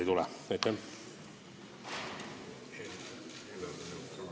Aitäh!